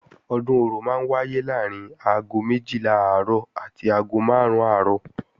Ọdún Orò máa ń wáyé láàrín aago méjìlá àárọ̀ àti aago máàrún àárọ̀